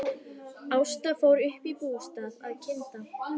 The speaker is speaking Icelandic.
Ásta fór upp í bústað að kynda.